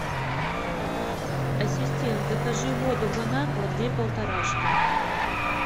ассистент закажи воду бон аква две полторашки